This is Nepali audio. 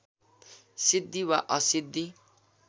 सिद्धि वा असिद्धि